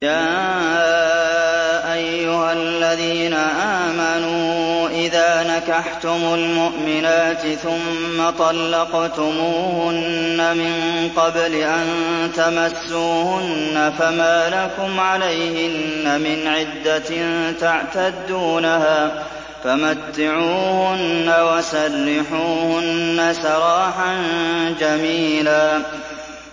يَا أَيُّهَا الَّذِينَ آمَنُوا إِذَا نَكَحْتُمُ الْمُؤْمِنَاتِ ثُمَّ طَلَّقْتُمُوهُنَّ مِن قَبْلِ أَن تَمَسُّوهُنَّ فَمَا لَكُمْ عَلَيْهِنَّ مِنْ عِدَّةٍ تَعْتَدُّونَهَا ۖ فَمَتِّعُوهُنَّ وَسَرِّحُوهُنَّ سَرَاحًا جَمِيلًا